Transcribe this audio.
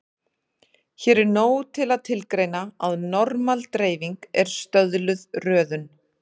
Hér er nóg að tilgreina að normal-dreifing er stöðluð röðun.